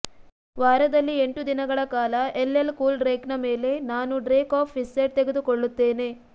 ವಾರದಲ್ಲಿ ಎಂಟು ದಿನಗಳ ಕಾಲ ಎಲ್ಎಲ್ ಕೂಲ್ ಡ್ರೇಕ್ನ ಮೇಲೆ ನಾನು ಡ್ರೇಕ್ ಆಫ್ ಪಿಸ್ಸೆಡ್ ತೆಗೆದುಕೊಳ್ಳುತ್ತೇನೆ